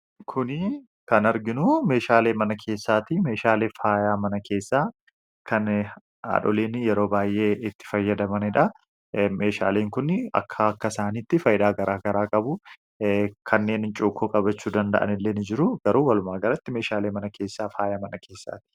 kuni kan arginu meeshaalee mana keessaati meeshaaleef faayaa mana keessaa kan hadholiin yeroo baay'ee itti fayyadamanidha. meeshaaleen kun akka akka isaaniitti fayyidaa gara garaa qabu kanneen cuukkoo qabachuu danda'an illeen jiru garuu walumaa galatti meeshaalee mana keessaa faayaa mana keessaati.